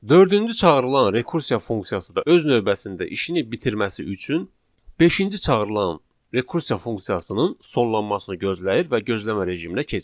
Dördüncü çağırılan rekursiya funksiyası da öz növbəsində işini bitirməsi üçün beşinci çağırılan rekursiya funksiyasının sonlanmasını gözləyir və gözləmə rejiminə keçir.